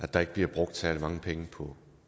der ikke bliver brugt særlig mange penge på